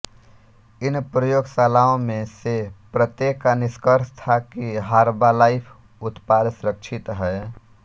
इन प्रयोगशालाओं में से प्रत्येक का निष्कर्ष था कि हर्बालाइफ उत्पाद सुरक्षित हैं